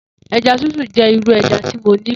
Eja Titu jẹ iru ẹja ti mo nifẹ.